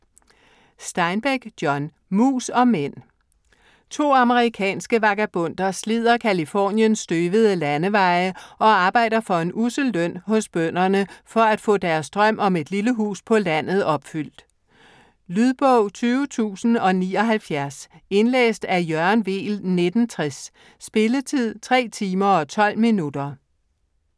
Steinbeck, John: Mus og mænd To amerikanske vagabonder slider Californiens støvede landeveje og arbejder for en ussel løn hos bønderne for at få deres drøm om et lille hus på landet opfyldt. Lydbog 20079 Indlæst af Jørgen Weel, 1960. Spilletid: 3 timer, 12 minutter.